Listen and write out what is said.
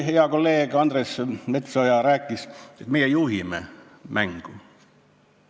Hea kolleeg Andres Metsoja rääkis, et meie juhime mängu.